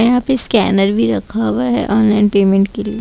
यहां पे स्कैनर भी रख हुआ है ऑनलाइन पेमेट के लिए।